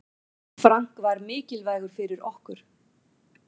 Frank var mikilvægur fyrir okkur.